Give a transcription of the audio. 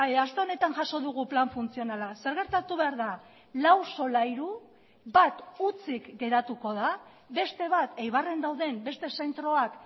aste honetan jaso dugu plan funtzionala zer gertatu behar da lau solairu bat hutsik geratuko da beste bat eibarren dauden beste zentroak